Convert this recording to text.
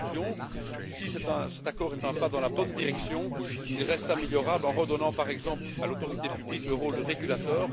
En conclusion, si cet accord est un pas dans la bonne direction, il reste améliorable en redonnant, par exemple, à l'autorité publique le rôle de régulateur.